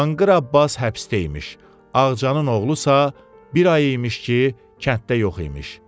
Danqır Abbas həbsdə imiş, Ağcanın oğlusa bir ay imiş ki, kənddə yox imiş.